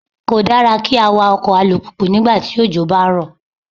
Kò dára kí á wa ọkọ̀ alùpùpù nígbà tí òjò ń bá rọ̀.